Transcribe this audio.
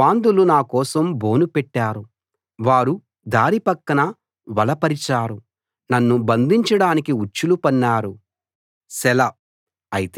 గర్వాంధులు నాకోసం బోను పెట్టారు వాళ్ళు దారి పక్కన వల పరిచారు నన్ను బంధించడానికి ఉచ్చులు పన్నారు సెలా